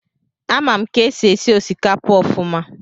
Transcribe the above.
Amam ka esi esi osikapa ofuma.